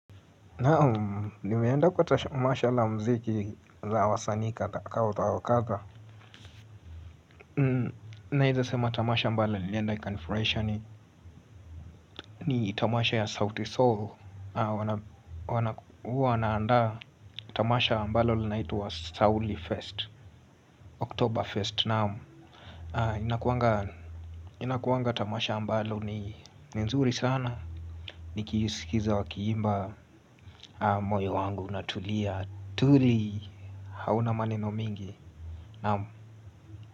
Naam, nimeenda kwa tamasha la mziki za wasani katha wa katha. Naeza sema tamasha ambalo nilienda ikanifurahisha ni tamasha ya sauti sol. Wanaandaa tamasha ambalo linaitwa sauli fest Oktober fest naam. Inakuanga tamasha ambalo ni nzuri sana. Nikisikiza wakiimba moyo wangu na tulia. Tuli hauna maneno mingi. Naam.